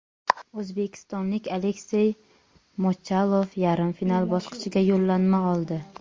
O‘zbekistonlik Aleksey Mochalov yarim final bosqichiga yo‘llanma oldi.